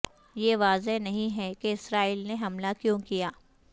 یہ واضح نہیں ہے کہ اسرائیل نے حملہ کیوں کیا